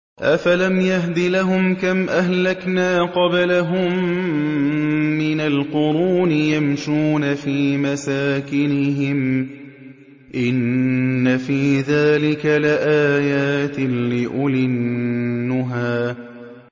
أَفَلَمْ يَهْدِ لَهُمْ كَمْ أَهْلَكْنَا قَبْلَهُم مِّنَ الْقُرُونِ يَمْشُونَ فِي مَسَاكِنِهِمْ ۗ إِنَّ فِي ذَٰلِكَ لَآيَاتٍ لِّأُولِي النُّهَىٰ